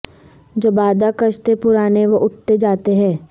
جو بادہ کش تھے پرانے وہ اٹھتے جاتے ہیں